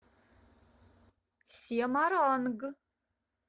семаранг